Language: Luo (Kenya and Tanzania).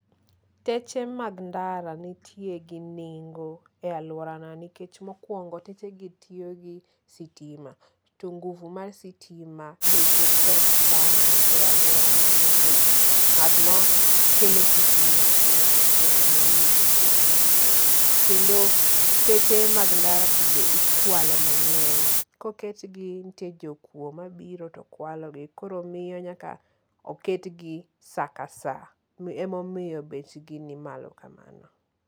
Teche mag ndara nitie gi nengo e alworana nikech mokwongo techegi tiyo gi sitima. To nguvu mar sitima beche tek sana e alworana nikech ng'at makelo sitima en ng'ato achiel ema omiyo beche ni malo. Kendo teche mag ndara be ikwalo mang'eny. Koketgi nitie jokuo mabiro to kwalogi koro miyo nyaka oketgi saa ka saa emomiyo bechgi ni malo kamano.